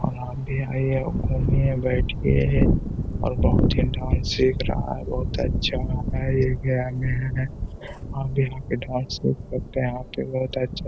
और आप भी आइये घूमिए बैठिये और बहुत ही बहुत अच्छा है ये गया में हैं। आप भी --